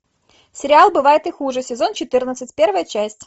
сериал бывает и хуже сезон четырнадцать первая часть